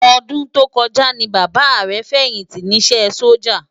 Òdún tókòjá ni Baba rè fèyinti nisè Sójá